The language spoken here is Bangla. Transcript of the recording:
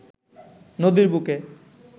নদীর বুকে